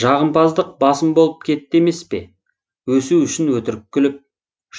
жағымпаздық басым болып кетті емеспе өсу үшін өтірік күліп